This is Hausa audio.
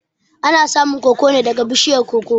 Ana samun koko neh daga bishiyar koko